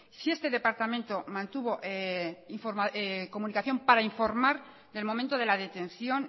si este departamento mantuvo comunicación para informar del momento de la detención